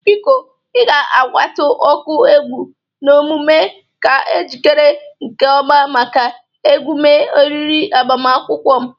Biko ị ga-agwatụ ọkụ egwu n'emume ka o jikere nke ọma maka emume oriri agbamakwụkwọm.